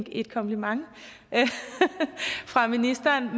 et kompliment fra ministeren og